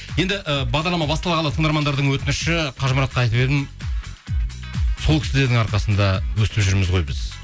енді і бағдарлама басталғалы тыңдармандырдың өтініші қажымұратқа айтып едім сол кісілердің арқасында өйстіп жүрміз ғой біз